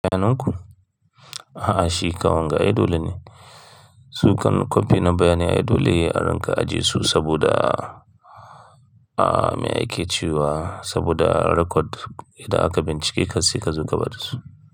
Sannun ku? A'a shi kan wanga ai dole ne. Su kan kwafi na bayanin ai dole a rinka ajiye su saboda, ah, me ake ci wa saboda record idan aka bincike ka sai zo ka bada su.